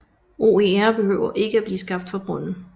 OER behøver ikke at blive skabt fra bunden